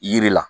Yiri la